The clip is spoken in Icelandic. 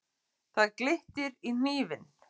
Það glittir í hnífinn.